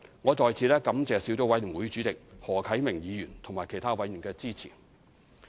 我在此感謝小組委員會主席何啟明議員和其他委員的支持。